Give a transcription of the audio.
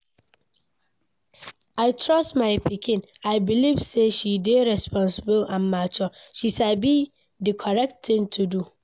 I trust my pikin, I belive say she dey responsible and mature. She sabi the correct thing to do.